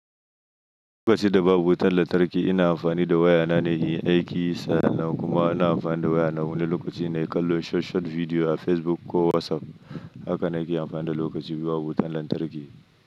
Lokaci da babu wutar lantarki, ina amfani da waya na ne yin aiki san nan kuma ina amfani da waya na wani lokaci na yi kallon short-short bidiyo a Facebook ko WhatsApp. Haka nake amfana lokaci biyu babu wutar lantarki.